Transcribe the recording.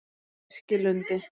Lerkilundi